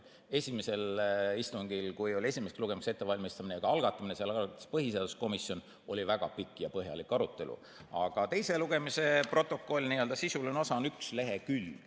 Esimesel istungil, kui oli esimese lugemise ettevalmistamine, ka algatamine – selle algatas põhiseaduskomisjon –, oli väga pikk ja põhjalik arutelu, aga teise lugemise protokolli n‑ö sisuline osa on üks lehekülg.